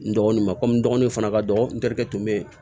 N dɔgɔnin ma komi n dɔgɔninw fana ka dɔgɔn n terikɛ tun bɛ yen